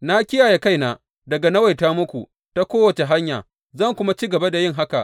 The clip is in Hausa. Na kiyaye kaina daga nawaita muku ta kowace hanya, zan kuma ci gaba da yin haka.